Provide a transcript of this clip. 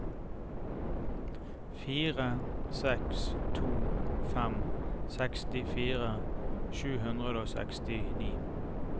fire seks to fem sekstifire sju hundre og sekstini